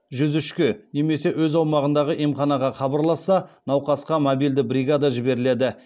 жүз үшке немесе өз аумағындағы емханаға хабарласса науқасқа мобильді бригада жіберіледі